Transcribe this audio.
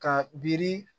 Ka biri